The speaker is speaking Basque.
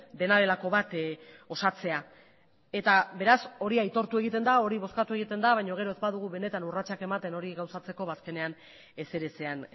dena delako bat osatzea eta beraz hori aitortu egiten da hori bozkatu egiten da baino gero ez badugu benetan urratsak ematen hori gauzatzeko ba azkenean ezer ezean